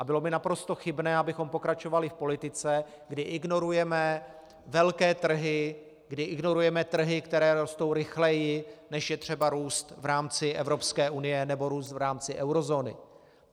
A bylo by naprosto chybné, abychom pokračovali v politice, kdy ignorujeme velké trhy, kdy ignorujeme trhy, které rostou rychleji, než je třeba růst v rámci Evropské unie nebo růst v rámci eurozóny.